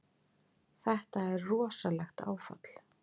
Þetta er rosalegt áfall!